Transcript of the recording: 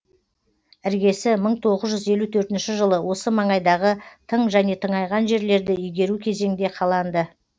іргесі мың тоғыз ж жылы осы маңайдағы тың және тыңайған жерлерді игеру кезеңде қаланды